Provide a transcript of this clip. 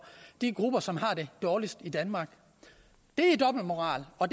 de grupper som har det dårligst i danmark det er dobbeltmoral og